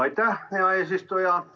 Aitäh, hea eesistuja!